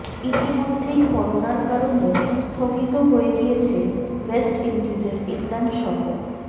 ইতিমধ্যেই করোনার কারনে স্থগিত হয়ে গিয়েছে ওয়েস্ট উইন্ডিজের ইংল্যান্ড সফর